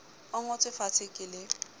e ngotswe fatshe ke le